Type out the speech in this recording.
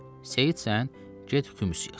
Seyid sən get xumus yığ.